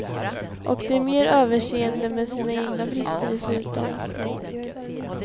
Och de är mer överseende med sina egna brister dessutom.